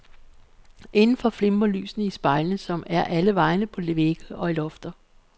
Inden for flimrer lysene i spejlene, som er alle vegne, på vægge og i lofter.